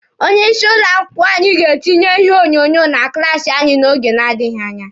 Onye isi ụlọ akwụkwọ anyị ga-etinye ihe onyonyo na klaasi anyị n'oge na-adịghi anya.